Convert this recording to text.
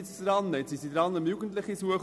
Jetzt sind sie dabei, Jugendliche zu suchen.